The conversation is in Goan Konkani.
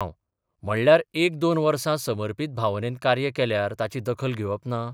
हांव म्हणल्यार एक दोन वस समर्पत भावनेन कार्य केल्यार ताची दखल घेवप ना?